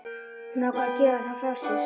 Hún ákvað að gefa það frá sér.